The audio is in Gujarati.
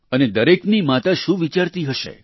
અને દરેકની માતા શું વિચારતી હશે